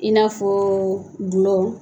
I n'a fɔ gulɔ